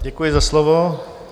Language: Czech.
Děkuji za slovo.